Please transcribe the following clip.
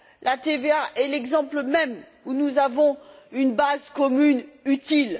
La TVA est l'exemple même où nous avons une base commune utile.